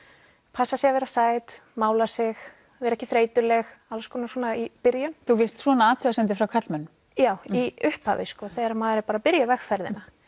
passa sig að vera sæt mála sig vera ekki þreytuleg alls konar svona í byrjun þú fékkst svona athugasemdir frá karlmönnum já í upphafi sko þegar maður er bara að byrja vegferðina